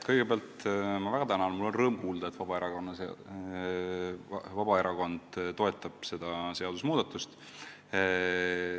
Kõigepealt ma väga tänan teid – rõõm kuulda, et Vabaerakond toetab seda seadusmuudatust.